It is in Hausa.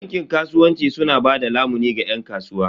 Bankin kasuwanci su na bada lamuni ga yan kasuwa.